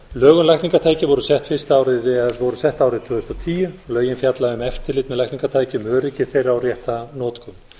um lækningatæki voru sett árið tvö þúsund og tíu lögin fjalla um eftirlit með lækningatækjum öryggi þeirra og rétta notkun